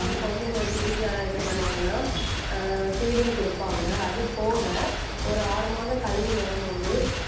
அப்ப அதே மாதிரி குழந்தைங்களுக்கு வீட்டுல என்ன பண்ணுவாங்கன்னா ஆஹ் feeding குடுப்பாங்க. அது போக ஒரு ஆறு மாதம் கழிந்து வரும்போது,